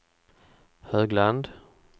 Högland